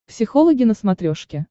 психологи на смотрешке